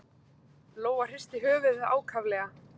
Lóa hristi höfuðið ákaflega.